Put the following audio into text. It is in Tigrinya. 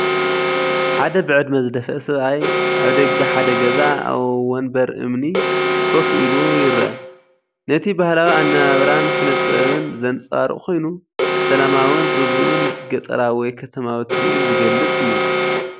ሓደ ብዕድመ ዝደፍአ ሰብኣይ (ተባዕታይ) ኣብ ደገ ሓደ ገዛ ኣብ መንበር እምኒ ኮፍ ኢሉ ይርአ። ነቲ ባህላዊ ኣነባብራን ስነ-ጥበብን ዘንጸባርቕ ኮይኑ፡ ሰላማውን ርጉእን ገጠራዊ ወይ ከተማዊ ትርኢት ዝገልጽ እዩ።